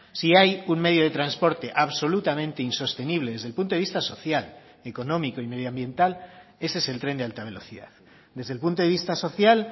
si hay un medio de transporte absolutamente insostenible desde el punto de vista social económico y medioambiental ese es el tren de alta velocidad desde el punto de vista social